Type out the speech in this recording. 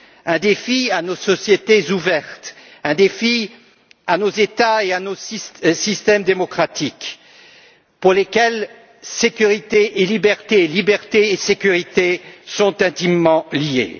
Un défi à nos sociétés ouvertes, un défi à nos États et à nos systèmes démocratiques pour lesquels sécurité et liberté, liberté et sécurité sont intimement liées.